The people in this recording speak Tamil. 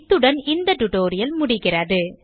இத்துடன் இந்த டியூட்டோரியல் முடிகிறது